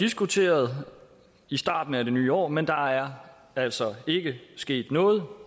diskuteret i starten af det nye år men der er altså ikke sket noget